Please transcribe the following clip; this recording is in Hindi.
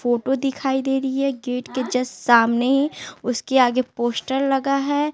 फोटो दिखाई दे रही है गेट के जस्ट सामने उसके आगे पोस्टर लगा है।